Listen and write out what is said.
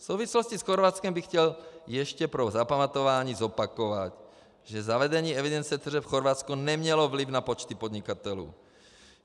V souvislosti s Chorvatskem bych chtěl ještě pro zapamatování zopakovat, že zavedení evidence tržeb v Chorvatsku nemělo vliv na počty podnikatelů.